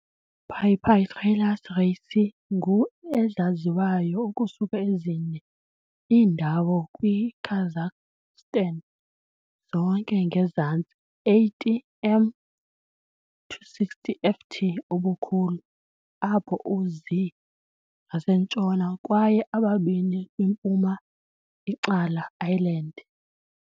"Pipistrellus raceyi" ngu ezaziwayo ukusuka ezine iindawo kwi Kazakhstan, zonke ngezantsi 80 m, 260 ft, ubukhulu, apho u-zi ngasentshona kwaye ababini kwi-mpuma icala island.